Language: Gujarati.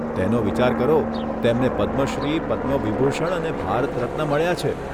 તેનો વિચાર કરો, તેમને પદ્મશ્રી, પદ્મ વિભૂષણ અને ભારત રત્ન મળ્યા છે.